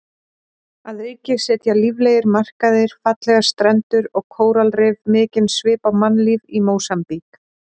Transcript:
Að auki setja líflegir markaðir, fallegar strendur og kóralrif mikinn svip á mannlíf í Mósambík.